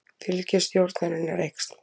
Fylgi stjórnarinnar eykst